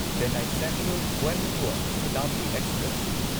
Chennai central Coimbatore Shatabdi express